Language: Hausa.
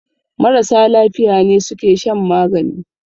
Marasa lafiya ne suke shan magani